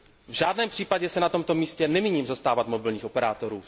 V žádném případě se na tomto místě nemíním zastávat mobilních operátorů.